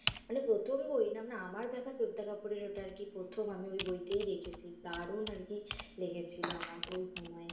মানে প্রথম বই না মানে আমার দেখা শ্রদ্ধা কাপুরের ওটা আরকি প্রথম আমি ওই বইটাই দেখেছি দারুণ আরকি লেগেছিল আমার ওই সময়।